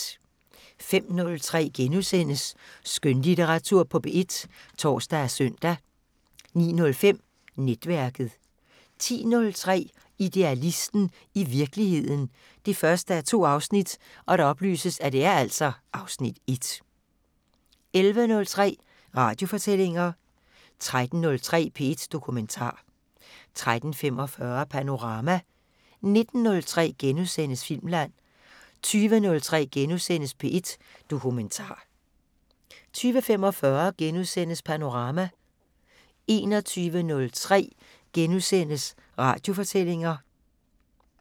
05:03: Skønlitteratur på P1 *(tor og søn) 09:05: Netværket 10:03: Idealisten – i virkeligheden 1:2 (Afs. 1) 11:03: Radiofortællinger 13:03: P1 Dokumentar 13:45: Panorama 19:03: Filmland * 20:03: P1 Dokumentar * 20:45: Panorama * 21:03: Radiofortællinger *